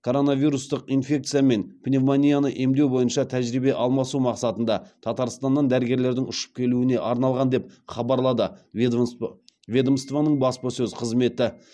коронавирустық инфекция мен пневмонияны емдеу бойынша тәжірибе алмасу мақсатында татарстаннан дәрігерлердің ұшып келуіне арналған деп хабарлады ведомствоның баспасөз қызметі